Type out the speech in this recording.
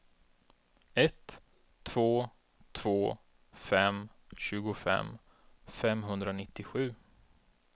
ett två två fem tjugofem femhundranittiosju